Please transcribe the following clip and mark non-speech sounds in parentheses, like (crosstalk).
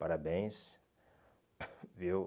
Parabéns (coughs) viu.